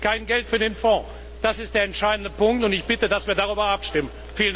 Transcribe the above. Es gibt kein Geld für den Fonds. Das ist der entscheidende Punkt, und ich bitte, dass wir darüber abstimmen.